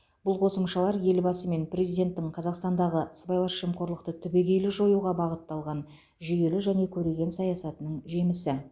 бұл қосымшалар елбасы мен президенттің қазақстандағы сыбайлас жемқорлықты түбегейлі жоюға бағытталған жүйелі және көреген саясатының жемісі